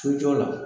Sojɔ la